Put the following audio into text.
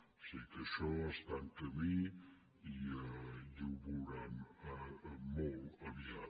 o sigui que això està en camí i ho veuran molt aviat